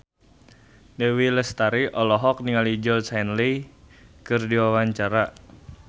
Dewi Lestari olohok ningali Georgie Henley keur diwawancara